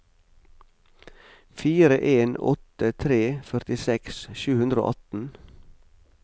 fire en åtte tre førtiseks sju hundre og atten